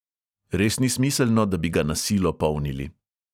Res ni smiselno, da bi ga na silo polnili.